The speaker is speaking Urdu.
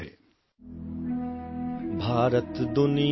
Maithili sound clip 30 second Urdu ترجمہ